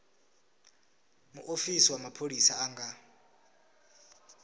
muofisi wa mapholisa a nga